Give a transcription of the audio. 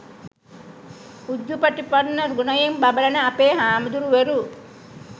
උජුපටිපන්න ගුණයෙන් බබළන අපේ හාමුදුරුවරු